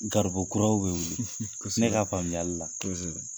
Garibu kuraw be wili. Kɔsɛbɛ. Ne ka faamuyali la. Kɔsɛbɛ.